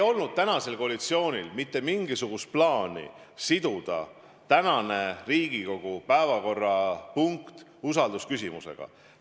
Koalitsioonil ei olnud mitte mingisugust plaani siduda tänane Riigikogu istungi päevakorrapunkt usaldusküsimusega.